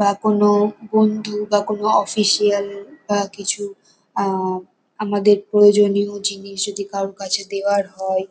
বা কোনো বন্ধু বা কোনো অফিসিয়াল বা কিছু আহ আমাদের প্রয়োজনীয় জিনিস যদি কারোর কাছে দেবার হয়